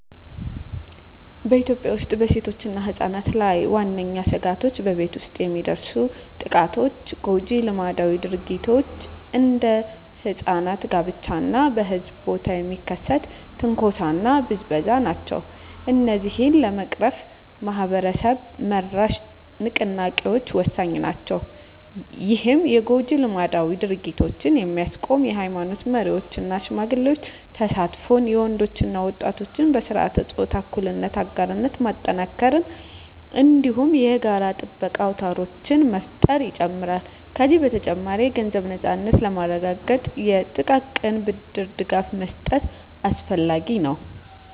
በኢትዮጵያ ውስጥ በሴቶችና ሕጻናት ላይ ዋነኛ ስጋቶች በቤት ውስጥ የሚደርሱ ጥቃቶች፣ ጎጂ ልማዳዊ ድርጊቶች (እንደ ሕጻናት ጋብቻ) እና በሕዝብ ቦታ የሚከሰት ትንኮሳና ብዝበዛ ናቸው። እነዚህን ለመቅረፍ ማኅበረሰብ-መራሽ ንቅናቄዎች ወሳኝ ናቸው። ይህም የጎጂ ልማዳዊ ድርጊቶችን የሚያስቆም የኃይማኖት መሪዎች እና ሽማግሌዎች ተሳትፎን፣ የወንዶች እና ወጣቶች በሥርዓተ-ፆታ እኩልነት አጋርነት ማጠናከርን፣ እንዲሁም የጋራ ጥበቃ አውታሮችን መፍጠርን ይጨምራል። ከዚህ በተጨማሪ፣ የገንዘብ ነፃነትን ለማረጋገጥ የጥቃቅን ብድር ድጋፍ መስጠት አስፈላጊ ነው።